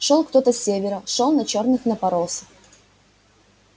шёл кто-то с севера шёл на чёрных напоролся